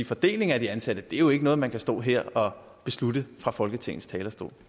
fordeling af de ansatte er jo ikke noget man kan stå her og beslutte fra folketingets talerstol